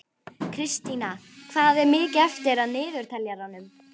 Kristína, hvað er mikið eftir af niðurteljaranum?